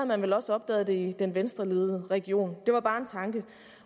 man vel også opdaget det i den venstreledede region det var bare en tanke